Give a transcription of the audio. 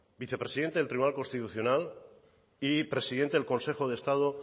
vicepresidente del tribunal constitucional y presidente del consejo de estado